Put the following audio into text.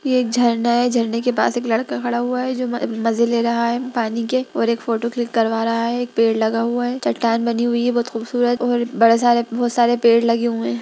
ये एक झरना है इस झरने के पास एक लड़का खड़ा हुआ हैजो मज़े ले रहा पानी के और एक फोटो क्लिक करवा रहा है एक पेड़ लगा हुआ है चट्टान बनी हुई है बहुत खूबसूरत और बड़ा सारे बहुत सारे पेड़ लगे हुए।